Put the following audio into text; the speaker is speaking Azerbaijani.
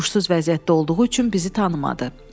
Huşsuz vəziyyətdə olduğu üçün bizi tanımadı.